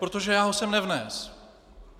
Protože já ho sem nevnesl.